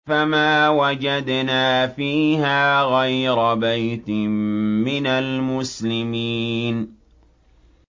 فَمَا وَجَدْنَا فِيهَا غَيْرَ بَيْتٍ مِّنَ الْمُسْلِمِينَ